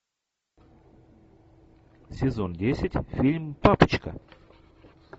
сезон десять фильм папочка